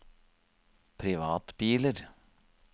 privatbiler